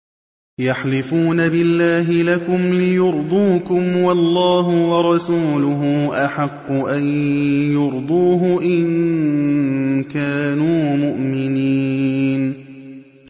يَحْلِفُونَ بِاللَّهِ لَكُمْ لِيُرْضُوكُمْ وَاللَّهُ وَرَسُولُهُ أَحَقُّ أَن يُرْضُوهُ إِن كَانُوا مُؤْمِنِينَ